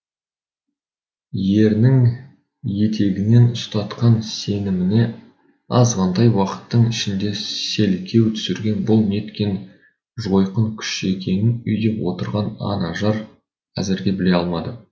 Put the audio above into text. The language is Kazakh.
ерінің етегінен ұстатқан сеніміне азғантай уақыттың ішінде селкеу түсірген бұл неткен жойқын күш екенін үйде отырған анажар әзірге біле алмады